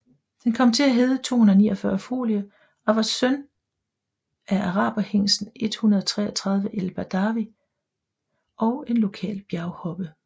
Den kom til at hedde 249 Folie og var søn af araberhingsten 133 El Bedavi XXII og en lokal bjerghoppe